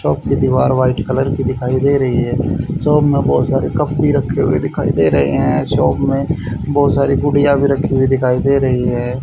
Chop की दीवार white colour की दिखाई दे रहीं हैं शॉप में बहुत सारे कप भी रखें हुए दिखाई दे रहें हैं शॉप में बहुत सारी गुड़िया भीं रखीं हुई दिखाई दे रहीं हैं।